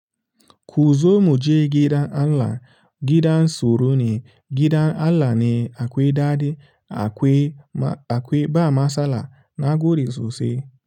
Ku zo muje gidan Allah, gidan tsoro ne, gidan Allah ne akwai ɗadi akwai, akwai ba matsala na gode sosai.